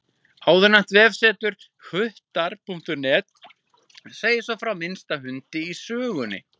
Áðurnefnt vefsetur, hvuttar.net, segir svo frá minnsta hundi í sögunni.